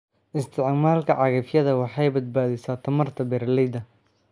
Isticmaalka cagafyada waxay badbaadisaa tamarta beeralayda.